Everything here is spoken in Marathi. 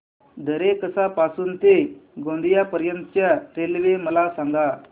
दरेकसा पासून ते गोंदिया पर्यंत च्या रेल्वे मला सांगा